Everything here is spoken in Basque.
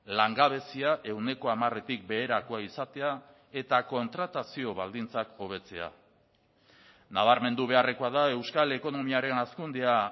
langabezia ehuneko hamaretik beherakoa izatea eta kontratazio baldintzak hobetzea nabarmendu beharrekoa da euskal ekonomiaren hazkundea